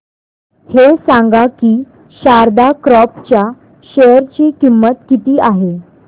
हे सांगा की शारदा क्रॉप च्या शेअर ची किंमत किती आहे